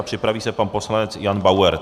A připraví se pan poslanec Jan Bauer.